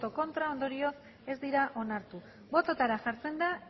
ez ondorioz ez dira onartu bototara jartzen da